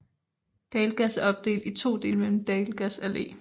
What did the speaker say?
Dalgas er opdelt i to dele gennem Dalgas Allé